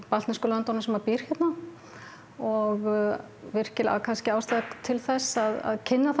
baltnesku löndunum sem býr hér og virkilega ástæða til þess að kynna